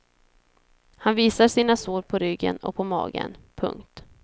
Han visar sina sår på ryggen och på magen. punkt